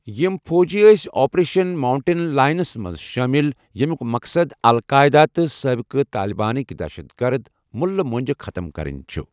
یِم فوٗجی ٲسۍ آپریشن ماوُنٹین لاینَس منٛز شٲمِل، ییٚمیُوک مقصد القاعِدہ تہٕ سٲبقہٕ طالِبانٕکہِ دہشت گرٕد مُلہٕ مۄنٛجہِ ختم کرٕنہِ چِھ ۔